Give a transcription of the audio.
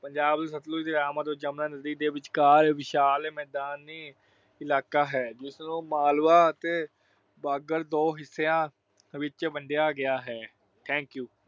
ਪੰਜਾਬ ਵਿੱਚ ਸਤਲੁਜ ਦੇ ਅਤੇ ਜਮੁਨਾ ਨਦੀ ਦੇ ਵਿਚਕਾਰ ਵਿਸ਼ਾਲ ਮੈਦਾਨੀ ਇਲਾਕਾ ਹੈ ਜਿਸ ਨੂੰ ਮਾਲਵਾ ਅਤੇ ਬਾਂਗਰ ਦੋ ਹਿੱਸਿਆਂ ਵਿੱਚ ਵੰਡਿਆ ਗਿਆ ਹੈ। thank you